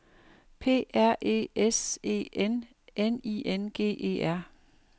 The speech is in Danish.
P R E S E N N I N G E R